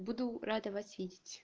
буду рада вас видеть